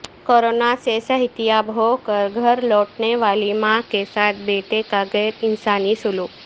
corona سے صحتیاب ہوکر گھر لوٹنے والی ماں کے ساتھ بیٹے کا غیرانسانی سلوک